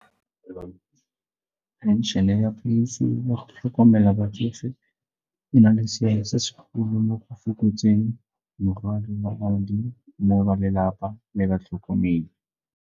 Phenšene ya ya go tlhokomela batsofe e na le seabe se segolo mo go fokotseng mo ba lelapa le batlhokomedi.